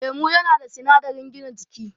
Lemo yana da sinadarin gina jiki